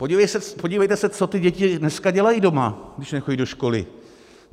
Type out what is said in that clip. Podívejte se, co ty děti dneska dělají doma, když nechodí do školy.